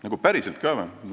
Nagu päriselt ka või?